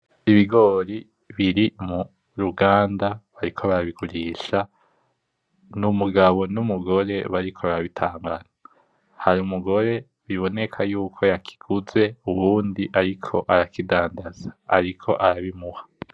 Ibigori biri muruganda bariko barabigurisha n’umugabo n’umugore bariko barabitanga hari umugore biboneka yuko yakiguze uwundi ariko arakindadaza ariko arabimuha.